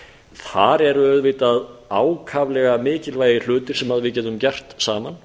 þar eru auðvitað ákaflega mikilvægir hlutir sem við getum gert saman